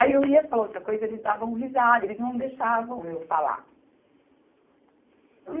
Aí eu ia falar outra coisa e eles davam risada, eles não deixavam eu falar.